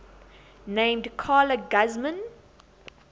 named carla guzman